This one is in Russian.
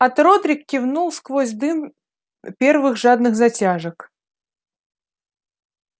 от родрик кивнул сквозь дым первых жадных затяжек